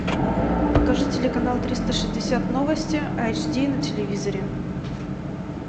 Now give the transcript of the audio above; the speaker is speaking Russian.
покажи телеканал триста шестьдесят новости айч ди на телевизоре